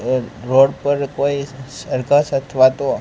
આ રોડ પર કોઈ સર્કસ અથવા તો--